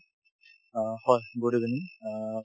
অ, হয় good evening অ